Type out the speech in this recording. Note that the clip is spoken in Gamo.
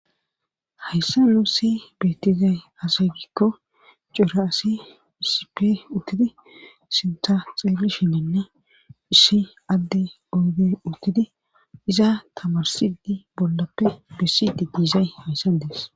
Hayssa nuu si beettizay asaygikko cora asi hisippe uttidi sinta xeeli shinenna issi adde oodey uttidi iza tamarsidi bollappe bessi di giizay hayssa dees